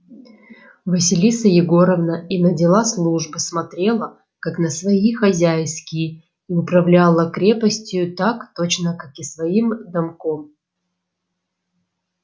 василиса егоровна и на дела службы смотрела как на свои хозяйские и управляла крепостию так точно как и своим домком